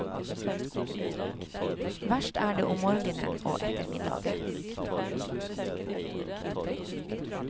Verst er det om morgenen og ettermiddagen.